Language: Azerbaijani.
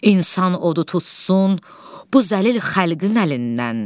İnsan odu tutsun bu zəlil xəlqin əlindən.